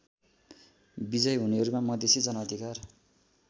विजयी हुनेहरूमा मधेसी जनअधिकार